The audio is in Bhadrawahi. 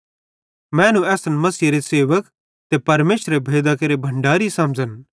मैनू असन मसीहेरे सेवक ते परमेशरेरे भेदां केरे भण्डारी समझ़न